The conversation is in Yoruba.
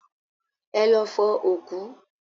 Ẹ lọ fọ òkú!